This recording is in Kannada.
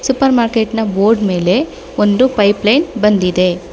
ಸೂಪರ್ ಮಾರ್ಕೆಟ್ ನ ಬೋರ್ಡ್ ಮೇಲೆ ಒಂದು ಪೈಪ್ ಲೈನ್ ಬಂದಿದೆ.